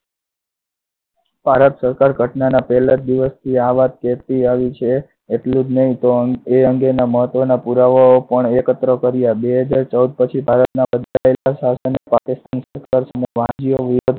ભારત સરકાર ઘટનાના પહેલા જ દિવસથી આ વાત કહેતી આવી છે એટલું જ નહી પણ એ અંગેના મહત્વ ના પુરાવાઓ પણ એકત્ર કર્યા. બે હજાર ચૌદ પછી ભારતના બદલાયેલા શાસન